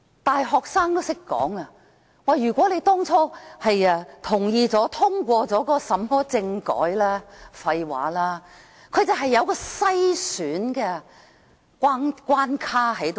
大學生也懂得說，如果我們當初同意並通過政改，這句話是廢話，這種政改有篩選關卡存在。